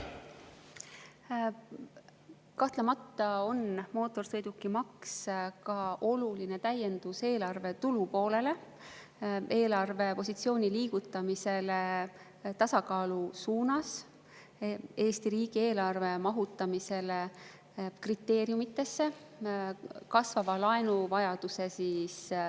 Kahtlemata on mootorsõidukimaks oluline täiendus eelarve tulupoolele, see liigutada eelarvepositsiooni tasakaalu suunas, mahutada Eesti riigieelarvet kriteeriumidesse ning vähendada laenuvajadust.